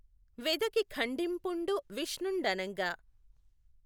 వెదకి ఖండింపుఁడు విష్ణుఁ డనఁగ